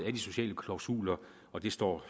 af de sociale klausuler og det står